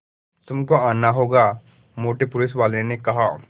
तुमको आना होगा मोटे पुलिसवाले ने कहा